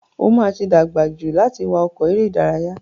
O ma ti dàgbà jù láti wá ọkọ̀ eré ìdárayá.